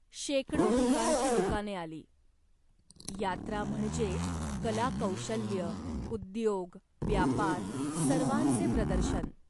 शेकडो ठिकाणची दुकाने आली. यात्रा म्हणजे कलाकौशल्य, उद्योग, व्यापार, सर्वांचे प्रदर्शन.